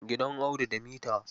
Gidan Audu da mita.